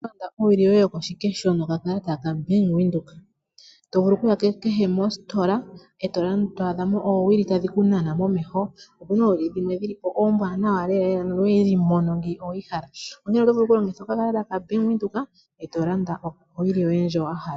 Oto vulu oku landa owili yoye yokoshikesho nokakalata ka Bank Windhoek. Oto vulu okuya kehe mositola eto adhamo oowili tadhi ku nana momeho. Opuna oowili dhimwe dhilipo ombwanawa lela nowedhi mono ngeyi owedhi hala nonkene oto vulu oku longitha okakalata ka Bank Windhoek eto landa owili yoye ndjoka wa hala.